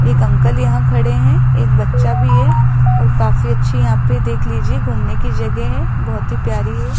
एक अंकल यहां खड़े है एक बच्चा भी है और काफी अच्छी यहां पे देख लीजिए घूमने की जगह है बहोत ही प्यारी है।